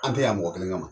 An tɛ yan mɔgɔ kelen kama